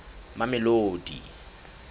mamelodi